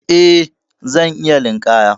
Eh, zan iya linƙaya.